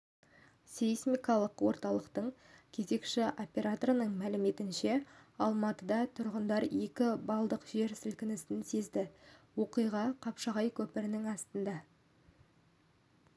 сейсмикалық орталықтың кезекші операторының мәліметінше алматы тұрғындары екі баллдық жер сілкінісін сезді оқиға қапшағай көпірінің астында